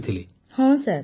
ପୁନମ ନୌଟିଆଲ ହଁ ସାର୍